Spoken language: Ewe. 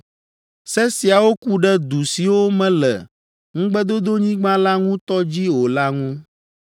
Se siawo ku ɖe du siwo mele Ŋugbedodonyigba la ŋutɔ dzi o la ŋu.